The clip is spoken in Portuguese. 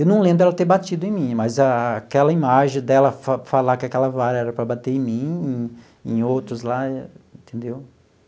Eu não lembro dela ter batido em mim, mas aquela imagem dela fa falar que aquela vara era para bater em mim, e em outros lá, entendeu?